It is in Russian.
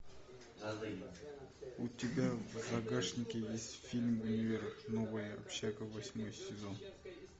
у тебя в загашнике есть фильм универ новая общага восьмой сезон